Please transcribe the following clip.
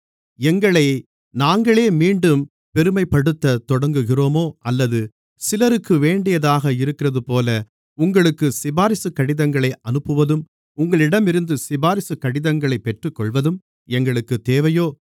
எங்களை நாங்களே மீண்டும் பெருமைப்படுத்தத் தொடங்குகிறோமோ அல்லது சிலருக்கு வேண்டியதாக இருக்கிறதுபோல உங்களுக்கு சிபாரிசுக் கடிதங்களை அனுப்புவதும் உங்களிடமிருந்து சிபாரிசுக் கடிதங்களைப் பெற்றுக்கொள்வதும் எங்களுக்குத் தேவையோ